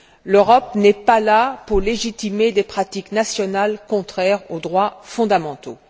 L'Europe n'est pas là pour légitimer des pratiques nationales contraires aux droits fondamentaux.